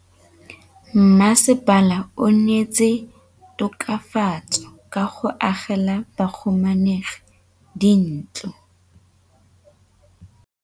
Mmasepala o neetse tokafatsô ka go agela bahumanegi dintlo.